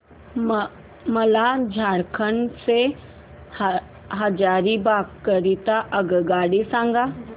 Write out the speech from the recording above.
मला झारखंड से हजारीबाग करीता आगगाडी सांगा